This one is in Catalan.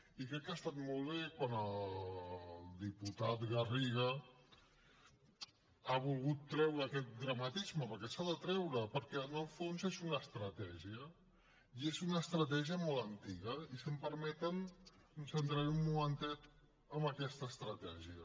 i crec que ha estat molt bé quan el diputat garriga ha volgut treure aquest dramatisme perquè s’ha de treure perquè en el fons és una estratègia i és una estratègia molt antiga i si em permeten em centraré un momentet en aquesta estratègia